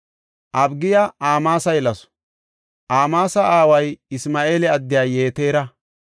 Abigiya Amaasa yelasu; Amaasa aaway Isma7eela addiya Yetera.